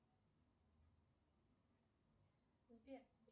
сбер